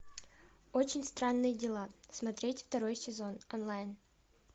очень странные дела смотреть второй сезон онлайн